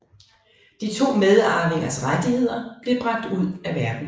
De to medarvingeres rettigheder blev bragt ud af verdenen